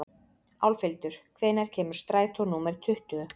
Álfhildur, hvenær kemur strætó númer tuttugu?